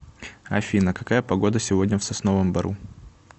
афина какая погода сегодня в сосновом бору